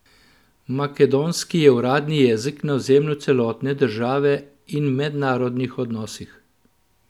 Makedonski je uradni jezik na ozemlju celotne države in v mednarodnih odnosih.